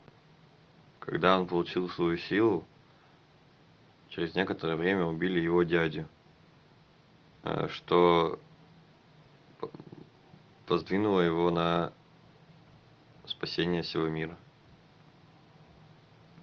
когда он получил свою силу через некоторое время убили его дядю что сподвинуло его на спасение всего мира